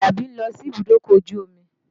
Àlàbí ń lọ síbùdókọ̀ ojú omi